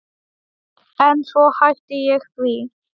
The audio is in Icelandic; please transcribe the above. En svo hætti ég því.